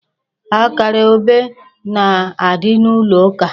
Akara obe na-adị n'ụlọ ụka.